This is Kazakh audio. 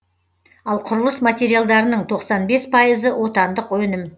ал құрылыс материалдарының тоқсан бес пайызы отандық өнім